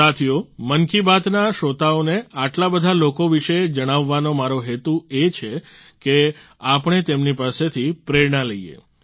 સાથીઓ મન કી બાતના શ્રોતાઓને આટલા બધા લોકો વિશે જણાવવાનો મારો હેતુ એ જ છે કે આપણે તેમની પાસેથી પ્રેરણા લઈએ